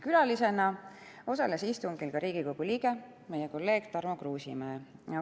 Külalisena osales istungil Riigikogu liige, meie kolleeg Tarmo Kruusimäe.